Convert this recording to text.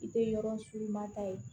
I tɛ yɔrɔ si ma taa ye